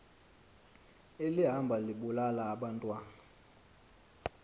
elihamba libulala abantwana